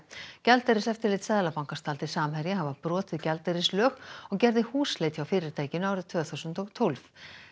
gjaldeyriseftirlit Seðlabankans taldi Samherja hafa brotið gjaldeyrislög og gerði húsleit hjá fyrirtækinu árið tvö þúsund og tólf